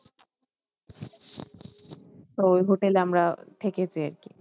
তো ওই hotel এ আমরা থেকেছি আরকি।